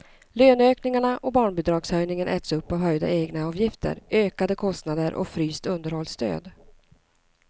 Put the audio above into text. Löneökningarna och barnbidragshöjningen äts upp av höjda egenavgifter, ökade kostnader och fryst underhållsstöd.